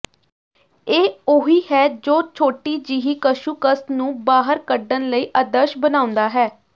ਇਹ ਉਹੀ ਹੈ ਜੋ ਛੋਟੀ ਜਿਹੀ ਕੱਛੂਕੱਸ ਨੂੰ ਬਾਹਰ ਕੱਢਣ ਲਈ ਆਦਰਸ਼ ਬਣਾਉਂਦਾ ਹੈ